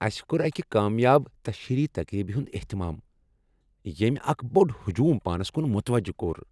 اسہ کوٚر اکہِ کامیاب تشہیری تقریبہ ہنٛد اہتمام ییٚمہِ اکھ بوٚڑ ہجوم پانس کن متوجہ کوٚر۔